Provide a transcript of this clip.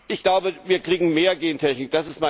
Ich glaube, wir kriegen mehr Gentechnik.